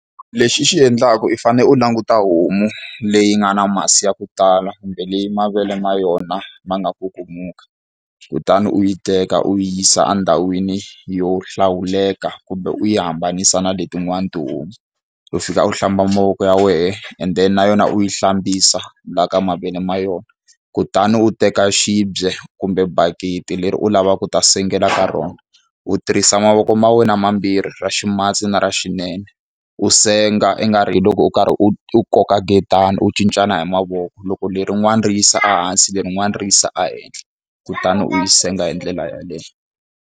Lexi i xi endlaka i fanele u languta homu leyi nga na masi ya ku tala kumbe leyi mavele ma yona ma nga kukumuka, kutani u yi teka u yi yisa endhawini yo hlawuleka kumbe u yi hambanisa na letin'wana tihomu. U fika u hlamba mavoko ya wena and then na yona u yi hlambisa laha ka mavele ma yona. Kutani u teka xibye kumbe bakiti leri u lavaka ku ta sengela ka rona, u tirhisa mavoko ma wena mambirhi ra ximatsi na ra xinene. U senga ingari hi loko u karhi u koka nketani u cincana hi mavoko. Loko lerin'wani ri yisa ehansi, lerin'wani ri yisa ehenhla, kutani u yi senga hi ndlela yeleyo.